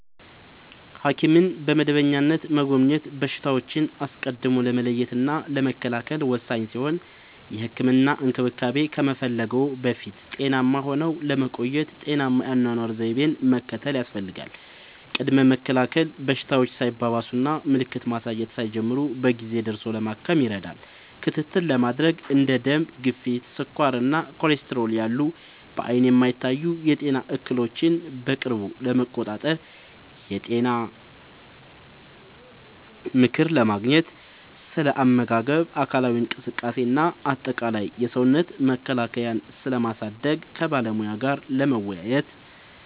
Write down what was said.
ሐኪምን በመደበኛነት መጎብኘት በሽታዎችን አስቀድሞ ለመለየትና ለመከላከል ወሳኝ ሲሆን፥ የህክምና እንክብካቤ ከመፈለግዎ በፊት ጤናማ ሆነው ለመቆየት ጤናማ የአኗኗር ዘይቤን መከተል ያስፈልጋል። ቅድመ መከላከል፦ በሽታዎች ሳይባባሱና ምልክት ማሳየት ሳይጀምሩ በጊዜ ደርሶ ለማከም ይረዳል። ክትትል ለማድረግ፦ እንደ ደም ግፊት፣ ስኳር እና ኮሌስትሮል ያሉ በዓይን የማይታዩ የጤና እክሎችን በቅርብ ለመቆጣጠር። የጤና ምክር ለማግኘት፦ ስለ አመጋገብ፣ አካላዊ እንቅስቃሴ እና አጠቃላይ የሰውነት መከላከያን ስለማሳደግ ከባለሙያ ጋር ለመወያየት።